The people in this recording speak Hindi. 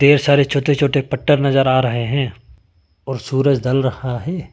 देर सारे छोटे छोटे पट्टर नजर आ रहे हैं और सूरज ढल रहा है।